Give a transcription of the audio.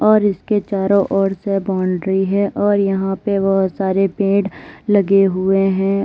और इसके चारों ओर से बाउंड्री है और यहां पे बहुत सारे पेड़ लगे हुए हैं।